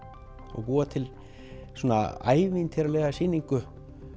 og búa til svona ævintýralega sýningu